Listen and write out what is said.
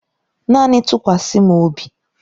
Naanị tụkwasa m obi.